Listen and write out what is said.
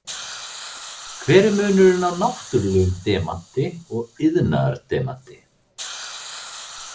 Hver er munurinn á náttúrulegum demanti og iðnaðardemanti?